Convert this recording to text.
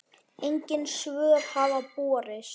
Engin svör hafa borist.